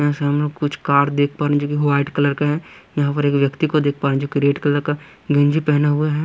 से हम लोग कुछ कार देख पा रहे हैं जोकि वाइट कलर का है यहाँ पर एक व्यक्ति को देख पा रहे हैं जो कि रेड कलर का गंजी पहने हुए है।